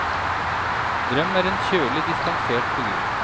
Drøm er en kjølig, distansert figur.